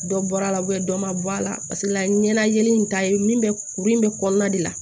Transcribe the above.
Dɔ bɔra la dɔ ma bɔ a la paseke la ɲɛnajɛ in ta ye min bɛ kuru in bɛ kɔnɔna de la